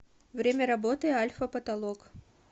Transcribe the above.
время работы альфа потолок